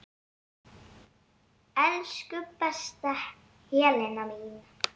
Elsku besta Helena mín.